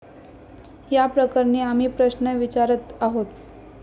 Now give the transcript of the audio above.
याप्रकरणी आम्ही प्रश्न विचरत आहोत.